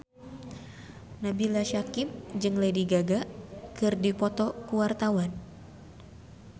Nabila Syakieb jeung Lady Gaga keur dipoto ku wartawan